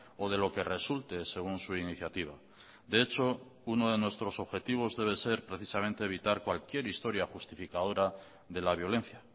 o de lo que resulte según su iniciativa de hecho uno de nuestros objetivos debe ser precisamente evitar cualquier historia justificadora de la violencia